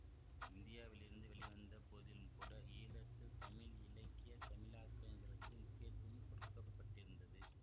இந்தியாவிலிருந்து வெளிவந்த போதிலும்கூட ஈழத்து தமிழ் இலக்கிய தமிழாக்கங்களுக்கு முக்கியத்துவம் கொடுக்க பட்டிருந்தது